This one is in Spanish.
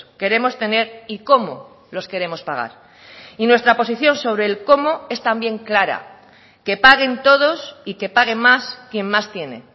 queremos tener y cómo los queremos pagar y nuestra posición sobre el cómo es también clara que paguen todos y que paguen más quien más tiene